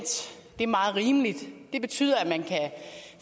er meget rimeligt det betyder at man kan